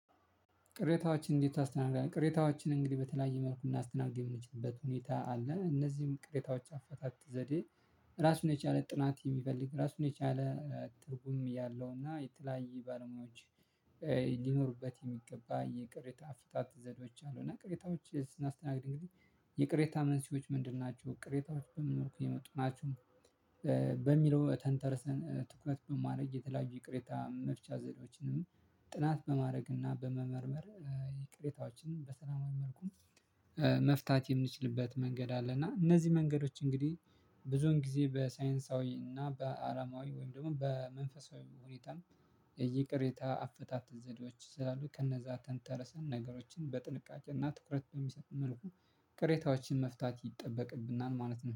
ቅሬታዎችን እንዴት ታስተናግዳለህ? ቅሬታዎችን እንግዲህ በተለያየ መልኩ ልናስስተናግድ የምንችልበት ሁኔታ አለ እነዚህም ቅሬታዎች አፈታት ዘዴ። ራሱን የቻለ ጥናት የሚፈልግ ራሱን የቻለ ትርጉም ያለውና የተለያየ ባለሙያዎች ሊኖሩበት የሚገባ የቅሬታ አፍታት ዘዴዎች አሉ። እና ቅሬታዎች ስናስተናግድ እንግዲህ የቅሬታ መንስኤዎች ምንድን ናቸው ቅሬታዎች በምን መልኩ የመጡ ናቸው? በሚለው ተንተርሰን ትኩረት በማድረግ የተለያዩ ይቅሬታ መፍቻ ዘዴዎችንም ጥናት በማድረግና በመመርመር የቅሬታዎችን በሰላማዊ መልኩ መፍታት የምንችልበት መንገድ አለ። እና እነዚህ መንገዶች እንግዲህ ብዙውን ጊዜ በሳይንሳዊ እና በአላማዊ ወይም ደግሞ በመንፈሳዊ ሁኔታ ይቅሬታ አፈታት ዘዴዎች ስላሉ ከነዛ ተንተረሰን ነገሮችን በጥንቃቄና ትኩረት በሚሰጥ መልኩ ቅሬታዎችን መፍታት ይጠበቅብናል። ማለት ነው